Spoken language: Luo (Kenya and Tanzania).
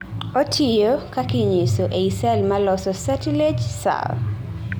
otiyo (kakinyiso) ei sel maloso catilage sel